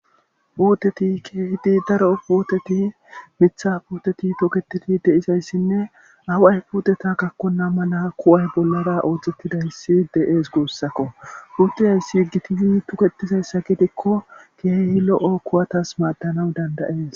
Puteti kehidi daro puuteti mitha puteti toketeti deizayssinne away puuteta gakkonna mala kuway bollara oojettida hissi de'ees guussakko puutiyayssi igitizi tuketizayssa gidikko keehi lo'o kuwatas maaddanaw dandayees